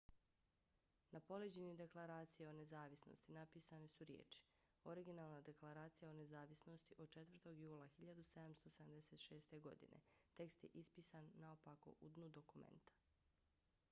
na poleđini deklaracije o nezavisnosti napisane su riječi originalna deklaracija o nezavisnosti od 4. jula 1776. godine . tekst je ispisan naopako u dnu dokumenta